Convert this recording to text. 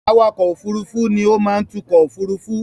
Awakọ̀ òfurufú ni ó má ń tukọ̀ òfurufú.